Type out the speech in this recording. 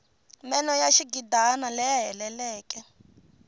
meno ya xigidana laya heleleke